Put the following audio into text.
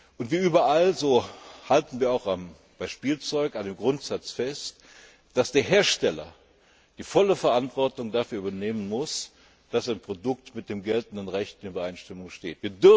Und wie überall, so halten wir auch bei Spielzeug an dem Grundsatz fest, dass der Hersteller die volle Verantwortung dafür übernehmen muss, dass ein Produkt mit dem geltenden Recht in Übereinstimmung steht.